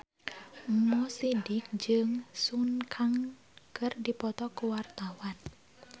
Mo Sidik jeung Sun Kang keur dipoto ku wartawan